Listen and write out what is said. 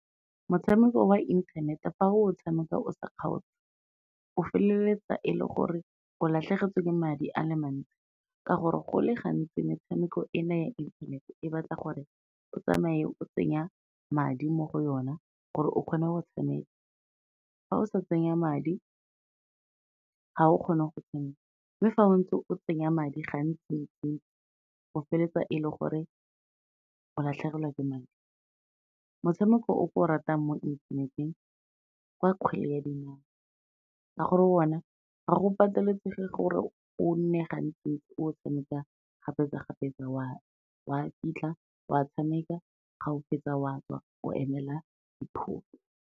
Motshameko wa inthanete fa o tshameka o sa kgaotse, o feleletsa e le gore o latlhegetswe ke madi a le mantsi, ka gore go le gantsi metshameko ena ya inthanete, e batla gore o tsamaye o tsenya madi mo go yona gore o kgone go tshameka, fa o sa tsenya madi ga o kgone go tshameka, mme fa o ntse o tsenya madi gantsi ntsi-ntsi, o feleletsa e le gore o latlhegelwa ke madi. Motshameko o ke o ratang mo inthaneteng, kwa kgwele ya dinao ka gore ona ga go pateletsege gore o nne gantsi ntsi o tshameka kgapetsa-kgapetsa wa kitla, wa tshameka ga o fetsa wa tswa o emela dipholo.